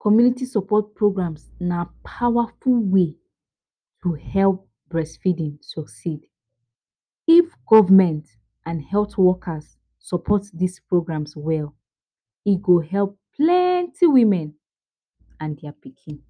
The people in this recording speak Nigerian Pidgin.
Community support programs na d powerful way to help breastfeeding succeed if government and health workers support dis programs well e go help plenty women and their pikin.